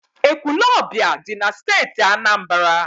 Ekwulọọbịa dị na Steeti Anambra.